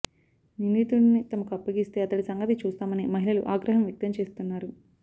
నిందితుడిని తమకు అప్పగిస్తే అతడి సంగతి చూస్తామని మహిళలు ఆగ్రహం వ్యక్తం చేస్తున్నారు